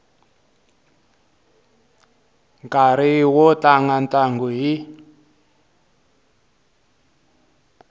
nkarhi wo tlanga ntlangu hi